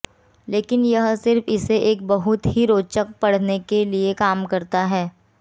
लेकिन यह सिर्फ इसे एक बहुत ही रोचक पढ़ने के लिए काम करता है